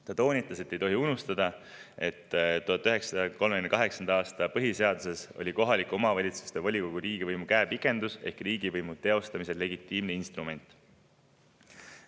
Ta toonitas, et ei tohi unustada, et 1938. aasta põhiseaduses oli kohaliku omavalitsuse volikogu riigivõimu käepikendus ehk riigivõimu teostamisel legitiimne instrument.